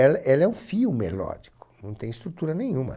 Ela ela é um fio melódico, não tem estrutura nenhuma.